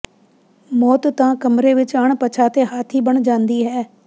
ਮੌਤ ਤਾਂ ਕਮਰੇ ਵਿਚ ਅਣਪਛਾਤੇ ਹਾਥੀ ਬਣ ਜਾਂਦੀ ਹੈ